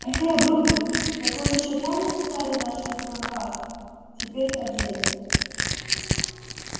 эхе брудер так он ещё помнит стары наши проказ теперь о деле